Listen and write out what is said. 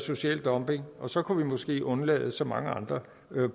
social dumping og så kunne vi måske undlade så mange andre